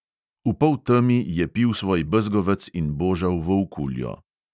V poltemi je pil svoj bezgovec in božal volkuljo.